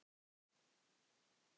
Þetta verður gaman